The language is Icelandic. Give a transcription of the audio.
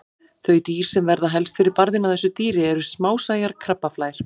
Þau dýr sem verða helst fyrir barðinu á þessu dýri eru smásæjar krabbaflær.